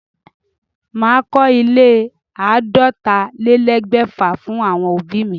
Màá kọ ilé àádọ́tálélẹ́ẹ̀ẹ́dẹ́gbẹ́fà fún àwọn òbí mi.